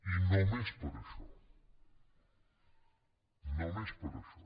i només per això només per això